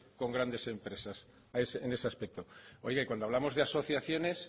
y grandes empresas en ese aspecto cuando hablamos de asociaciones